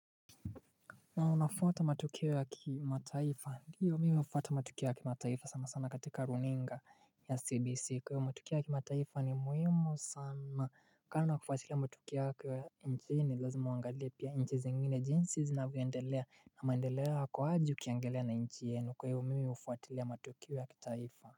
Na unafuata matukio ya kimataifa. Ndiyo, mimi hufuata matukio ya kimataifa sana sana katika runinga ya CBC. Kwa hivyo matukio ya kimataifa ni muhimu sana, kando na kufatila matukio ya nchini ni lazima uangalie pia nchi zingine jinsi zinavyoendelea na maendeleo yako aje ukiangalia na nchi yenu, kwa hiyo mimi hufatilia matukio ya kitaifa.